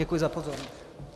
Děkuji za pozornost.